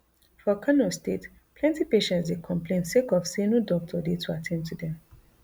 for kano state plenty patients dey complain sake of say no doctor dey to at ten d to dem